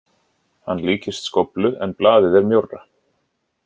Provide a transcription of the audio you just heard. Hann líkist skóflu en blaðið er mjórra.